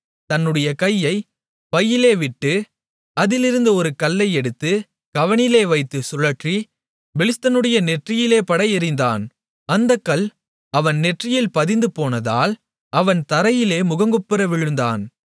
தன்னுடைய கையை பையிலே விட்டு அதிலிருந்து ஒரு கல்லை எடுத்து கவணிலே வைத்துச் சுழற்றி பெலிஸ்தனுடைய நெற்றியிலே பட எறிந்தான் அந்தக் கல் அவன் நெற்றியில் பதிந்து போனதால் அவன் தரையிலே முகங்குப்புற விழுந்தான்